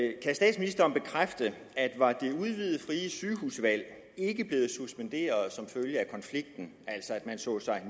var det udvidede frie sygehusvalg ikke blevet suspenderet som følge af konflikten altså at man så sig